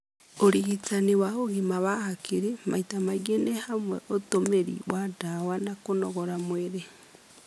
Ũrigitani wa ũgima wa hakiri maita maingĩ nĩ hamwe ũtũmĩri wa ndawa na kũnogora mwĩrĩ,